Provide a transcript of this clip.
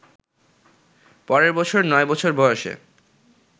পরের বছর নয় বছর বয়সে